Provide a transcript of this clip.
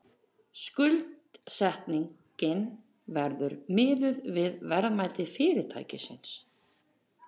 Skuldsetningin verði miðuð við verðmæti fyrirtækisins